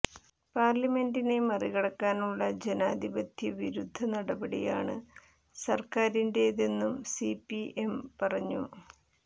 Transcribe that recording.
പാര്ലിമെന്റിനെ മറികടക്കാനുള്ള ജനാധിപത്യ വിരുദ്ധ നടപടിയാണ് സര്ക്കാറിന്റേതെന്നും സി പി എം പറഞ്ഞു